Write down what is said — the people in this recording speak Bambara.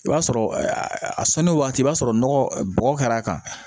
I b'a sɔrɔ a sanni waati i b'a sɔrɔ nɔgɔ bɔgɔ kɛr'a kan